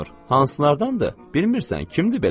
Hansılardandır? Bilmirsən, kimdir belə?